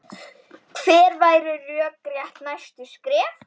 Hver væru rökrétt næstu skref?